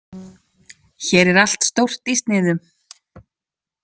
Hér er allt stórt í sniðum.